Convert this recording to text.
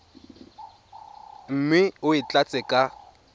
mme o e tlatse ka